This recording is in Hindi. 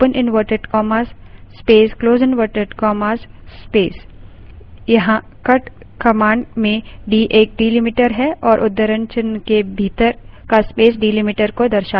यहाँ cut command में d एक delimiter है और उद्धरणचिन्ह के भीतर का space delimiter को दर्शाता है